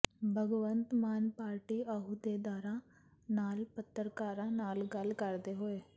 Bhagwant Mann party ਅਹੁਦੇਦਾਰਾਂ ਨਾਲ ਪੱਤਰਕਾਰਾਂ ਨਾਲ ਗੱਲ ਕਰਦੇ ਹੋਏ